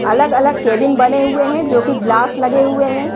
अलग अलग केबिन बने हुए हैं जो की ग्लास लगे हुए हैं।